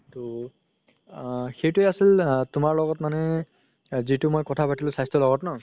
তো আ সেইটো আছিল আ তুমাৰ লগত মানে যিতো মই কথা পাতিলো স্বাস্থ্যৰ লগত ন